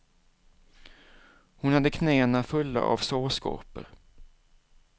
Hon hade knäna fulla av sårskorpor.